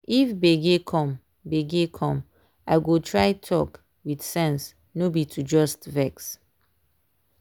if gbege come gbege come i go try talk with sense no be to just vex.